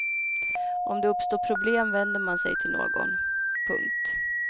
Om det uppstår problem vänder man sig till någon. punkt